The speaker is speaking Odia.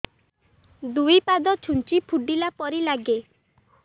ଦୁଇ ପାଦ ଛୁଞ୍ଚି ଫୁଡିଲା ପରି ଲାଗେ